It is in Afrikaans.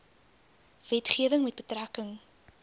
wetgewing met betrekking